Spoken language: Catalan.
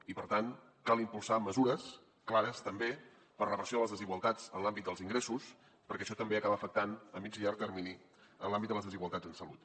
i per tant cal impulsar mesures clares també per reversió de les desigualtats en l’àmbit dels ingressos perquè això també acaba afectant a mitjà i llarg termini en l’àmbit de les desigualtats en salut